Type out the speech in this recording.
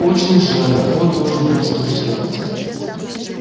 очень жаль он должен вас разочаровать